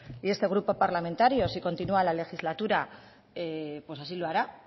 y este grupo parlamentario si continua la legislatura pues así lo hará